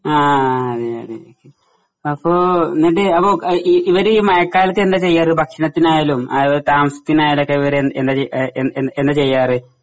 ആ അതെയതെ അപ്പോ ഇവര് മയക്കാലത്ത് എന്താ ചെയ്യാ ഇവര് ഭക്ഷണത്തിനായാലും അവ താമസത്തിനായാലൊക്കെ ഇവരെ എന്താ എഹ് എന്താ ചെയ് എഹ് എന്താ എന്നാ ചെയ്യാറ്?